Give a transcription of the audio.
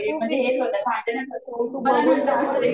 हेच होतं, भांडण च होतं